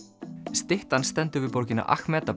styttan stendur við borgina